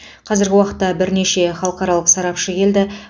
қазіргі уақытта бірнеше халықаралық сарапшы келді